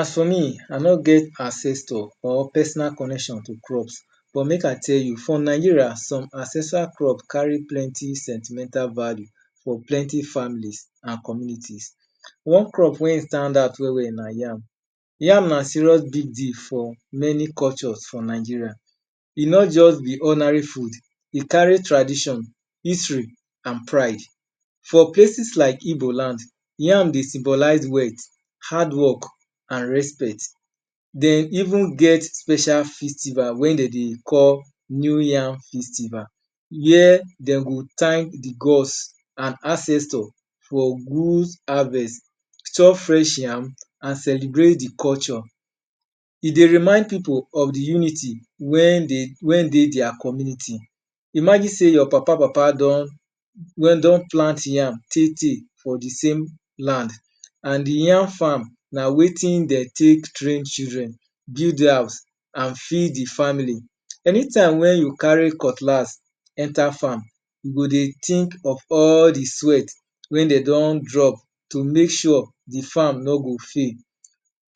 As for me, I no get ancestor or personal connection to crops. But make I tell you, from Nigeria, some ancestral crop carry plenty sentimental value for plenty families an communities. One crop wey stand out well-well na yam. Yam na serious big deal for many cultures for Nigeria. E no juz be ordinary food, e carry tradition, history, an pride. For places like Igboland, yam dey symbolize wealth, hardwork, an respect. De even get special festival wey de dey call New Yam Festival where de go thank the gods an ancestor for good harvest, chop fresh yam, an celebrate the culture. E dey remind pipu of the unity wey dey dia community. Imagine sey your papa-papa don plant yam tey-tey for the same land, an the yam farm na wetin de take train children, build house, an feed the family. Anytime wey you carry cutlass enter farm, you go dey think of all the sweat wey de don drop to make sure the farm no go fail.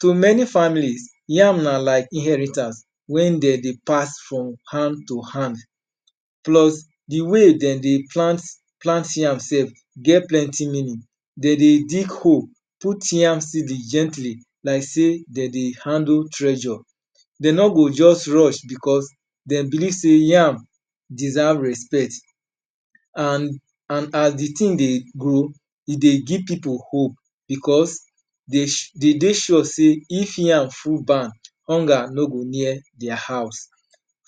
To may families, yam na like inheritance wey de dey pass from hand to hand. Plus, the way de dey plant yam sef get plenty meaning. De dey dig hole, put yam gently like sey de dey handle treasure. De no go juz rush becos dem believe sey yam deserve respect. An as the tin dey grow, e dey give pipu hope becos de dey sure sey if yam full barn, hunger no go near dia house.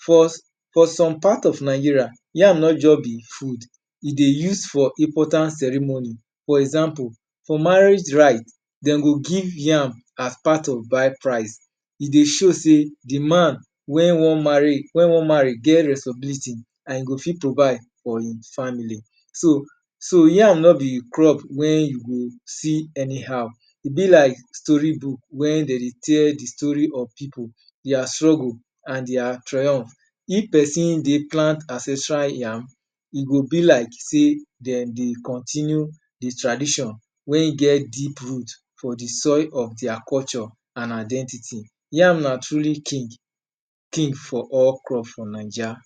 For some part of Nigeria, yam no juz be food, e dey use for important ceremony. For example, for marriage rite, de go give yam as part of bride price. E dey show sey the man wey wan marry get responsibility. an e go fit provide for ein family. So, yam no be crop wey you go see anyhow. E be like storybook where de dey tell the story of pipu, dia struggle, and dia triumph. If peson dey plant ancestral yam, e go be like sey dem dey continue the tradition wey get deep root for the soil of dia culture an identity. Yam na truly king for all crop for Naija.